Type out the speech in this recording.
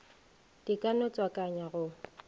di ka no tswakanywa go